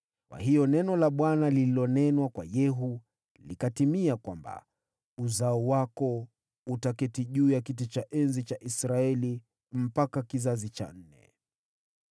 Kwa hiyo neno la Bwana lililonenwa kwa Yehu likatimia, kwamba, “Wazao wako wataketi juu ya kiti cha enzi cha Israeli hadi kizazi cha nne.”